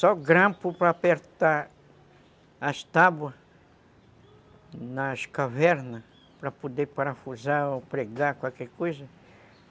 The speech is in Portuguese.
Só grampo para apertar as tábuas nas cavernas, para poder parafusar ou pregar qualquer coisa.